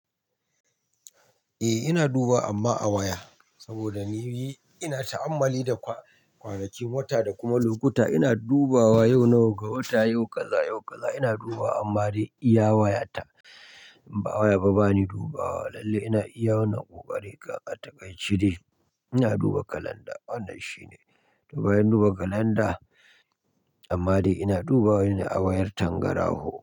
Eh ina duba amma a waya saboda ni ina ta'ammali da kwanakin wata da kuma lokuta. Ina dubawa yau na wa ga wata, yau kaza, yau kaza ina dubawa amma dai iya wayata in ba waya ba bani dubawa lalle ina iya wannan kokari. Ga a takaice dai ina duba kalanda wannan shine. To bayan duba kalanda amma dai ina dubawa ne a wayar tangarahu.